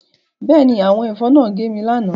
Bẹ́ẹ̀ ni, àwọn ẹ̀fọn náà gé mi lánàá